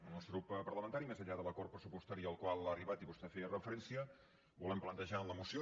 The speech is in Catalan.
el nostre grup parlamentari més enllà de l’acord pressupostari al qual ha arribat i vostè hi feia referència volem plantejar en la moció